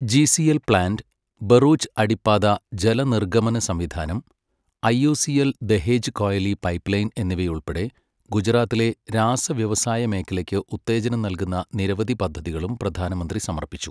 GACL plant, Bharuch അടിപ്പാതാ ജലനിർഗമനസംവിധാനം, IOCL Dahej Koyali pipeline എന്നിവയുൾപ്പെടെ ഗുജറാത്തിലെ രാസവ്യവസായമേഖലയ്ക്ക് ഉത്തേജനം നൽകുന്ന നിരവധി പദ്ധതികളും പ്രധാനമന്ത്രി സമർപ്പിച്ചു.